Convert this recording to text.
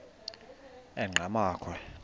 enqgamakhwe